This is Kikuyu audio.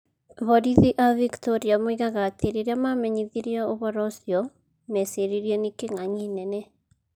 Borithi a Victoria moigaga atĩ rĩrĩa maamenyithirio ũhoro ũcio, meeciririe atĩ nĩ Kĩng'ang'i nene.